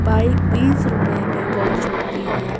Bike बीस रुपये wash होती है ।